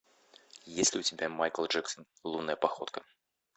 есть ли у тебя майкл джексон лунная походка